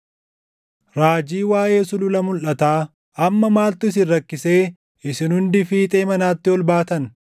Raajii waaʼee Sulula Mulʼataa: Amma maaltu isin rakkisee isin hundi fiixee manaatti ol baatan?